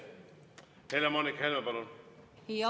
Helle-Moonika Helme, palun!